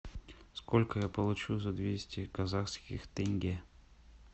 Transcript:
сколько я получу за двести казахских тенге